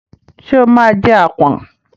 Ṣé ó máa jẹ àpọ̀n?